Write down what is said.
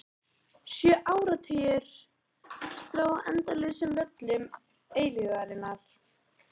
Sjö áratugir: strá á endalausum völlum eilífðarinnar.